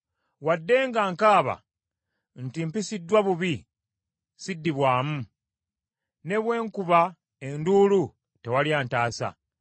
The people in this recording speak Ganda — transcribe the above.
“Wadde nga nkaaba nti, ‘Mpisiddwa bubi,’ siddibwamu; ne bwe nkuba enduulu, tewali antaasa.